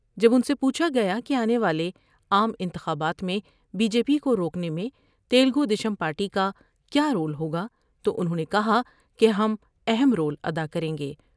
جب ان سے پوچھا گیا کہ آنے والے عام انتخابات میں بی جے پی کوروکنے میں تلگودیشم پارٹی کا کیا رول ہوگا تو انہوں نے کہا کہ ہم اہم رول ادا کر یں گے ۔